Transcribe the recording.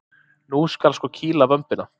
Nú skal sko kýla vömbina!